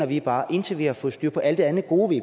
vi bare indtil vi har fået styr på alt det andet gode vi